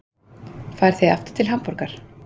Farið þið aftur til Hamborgar?